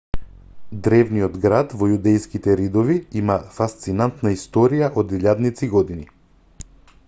древниот град во јудејските ридови има фасцинантна историја од илјадници години